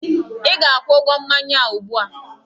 Ị ga-akwụ ụgwọ mmanya a ụgbu a!